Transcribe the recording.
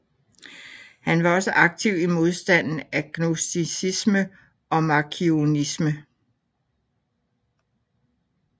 Han var også aktiv i modstanden af gnosticisme og markionisme